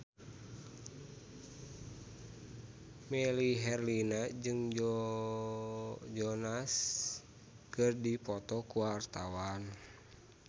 Melly Herlina jeung Joe Jonas keur dipoto ku wartawan